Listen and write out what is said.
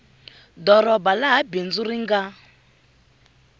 doroba laha bindzu ri nga